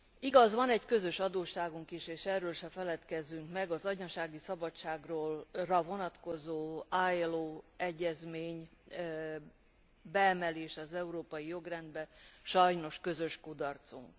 Igaz, van egy közös adósságunk is, és erről se feledkezzünk meg az anyasági szabadságra vonatkozó ILO egyezmény beemelése az európai jogrendbe sajnos közös kudarcunk.